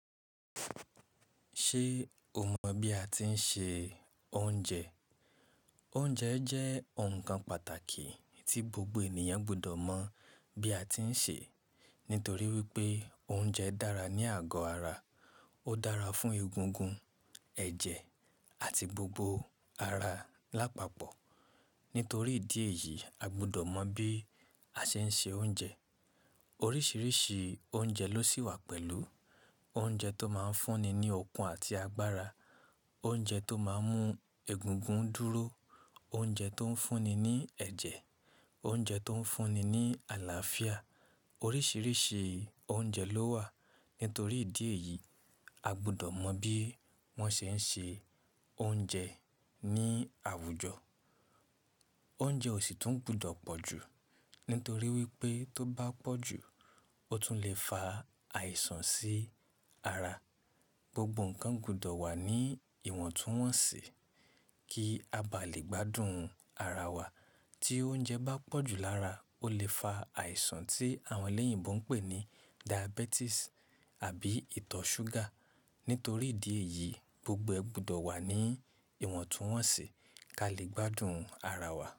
Ṣé o mọ̀ bí a ti ń se oúnjẹ? Oúnjẹ jẹ́ ǹkan pàtàkì tí gbogbo ènìyàn gbọdọ̀ mọ̀ bí a ti ń sè é. Nítorí wípé oúnjẹ dára ní àgọ́ ara, ó dára fún egungun, ẹ̀jẹ̀ àti gbogbo ara lápapọ̀. Nítorí ìdí èyí, a gbọdọ̀ mọ̀ bí a ṣe ń se oúnjẹ. Oríṣiríṣi oúnjẹ ló sì wà pẹ̀lú, oúnjẹ tó máa ń fúnni ní okun àti agbára, oúnjẹ tó máa ń mú egungun dúró, oúnjẹ tó ń fúnni ní ẹ̀jẹ̀, oúnjẹ tó ń fúnni ní àlàáfíà. Oríṣiríṣi oúnjẹ ló wà. Nítorí ìdí èyí, a gbọdọ̀ mọ̀ bí wọ́n ṣe ń ṣe oúnjẹ ní àwùjọ. Oúnjẹ ò sì tún gbudọ̀ pọ̀ ju, nítorí wípé tó bá pọ̀ ju, ó tún le fa àìsàn sí ara. Gbogbo ǹkan gbudọ̀ wà ní ìwọ̀ntúnwọ̀nsì kí a bá lè gbádùn ara wa. Tí oúnjẹ bá pọ̀ ju lára, ó lè fa àìsàn tí àwọn eléyìnbó ń pè ní diabetes àbí ìtọ̀ súgà. Nítorí ìdí èyí, gbogbo ẹ gbudọ̀ wà ní ìwọ̀ntúnwọ̀nsì ká lè gbádùn ara wa.